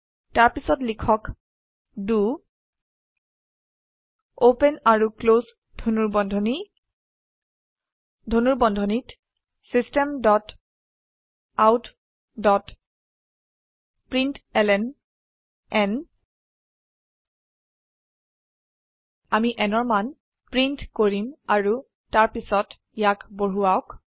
তাৰপিছত লিখক the open আৰু ক্লোস ধনুৰ্বন্ধনী ধনুৰ্বন্ধনীত systemoutপ্ৰিণ্টলন আমি nৰ মান প্ৰীন্ট কৰিম আৰু তাৰপিছত ইয়াক বঢ়োৱাক